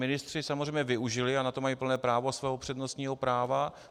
Ministři samozřejmě využili, a na to mají plné právo, svého přednostního práva.